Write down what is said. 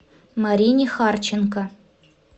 марине харченко